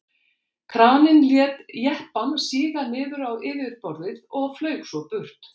kraninn lét jeppann síga niður á yfirborðið og flaug svo burt